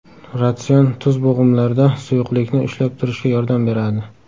Ratsion Tuz bo‘g‘imlarda suyuqlikni ushlab turishga yordam beradi.